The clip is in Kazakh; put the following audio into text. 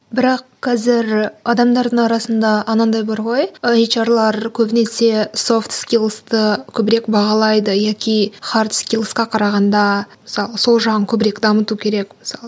бірақ қазір адамдардың арасында анандай бар ғой эйчарлар көбінесе софт скилсты көбірек бағалайды яки хард скилсқа қарағанда мысалы сол жағын көбірек дамыту керек мысалы